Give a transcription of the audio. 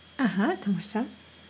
аха тамаша